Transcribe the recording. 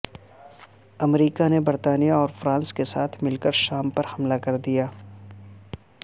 امریکہ نے برطانیہ اور فرانس کے ساتھ مل کر شام پر حملہ کردیا